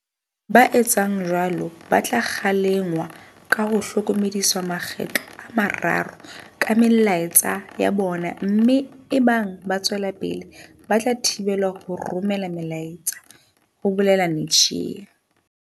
"Ba etsang jwalo ba tla kgalengwa ka ho hlokomediswa makgetlo a mararo ka melaetsa ya bona mme ebang ba tswela pele ba tla thibelwa ho romela melaetsa," ho bolela Netshiya.